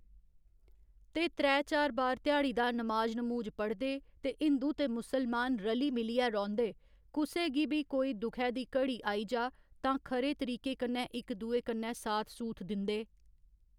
ते त्रै चार बार ध्याड़ी दा नमाज नमूज पढ़दे ते हिंदू ते मुसलमान रली मिलियै रौहंदे कुसे गी बी कोई दुखै दी घड़ी आई जा तां खरे तरीके कन्नै इक दुए कन्नै साथ सूथ दिंदे